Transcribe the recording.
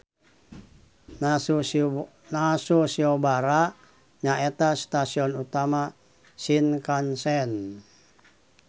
Nasu Shiobara nyaeta stasion utama Shinkansen.